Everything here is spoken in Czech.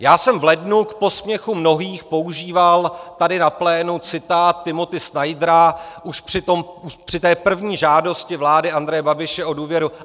Já jsem v lednu k posměchu mnohých používal tady na plénu citát Timothy Snydera už při té první žádosti vlády Andreje Babiše o důvěru.